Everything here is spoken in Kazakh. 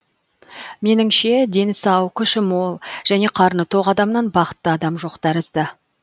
меніңше дені сау күші мол және қарны тоқ адамнан бақытты адам жоқ тәрізді